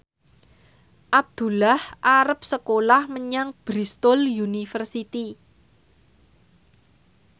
Abdullah arep sekolah menyang Bristol university